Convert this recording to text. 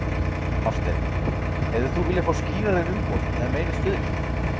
Hafsteinn: Hefðir þú viljað fá skýrari umboð eða meiri stuðning?